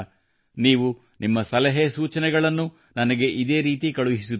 ನೀವು ನಿಮ್ಮ ಸಲಹೆ ಸೂಚನೆಗಳನ್ನು ನನಗೆ ಇದೇರೀತಿ ಕಳುಹಿಸುತ್ತಿರಿ